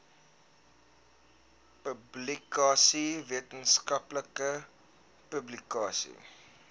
publikasies wetenskaplike publikasies